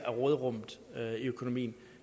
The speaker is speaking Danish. mener